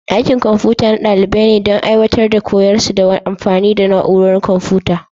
Dakin Kwamfuta na dalibai ne don aiwatar da koyarwarsu ta amfani da na'urorin kwamfuta.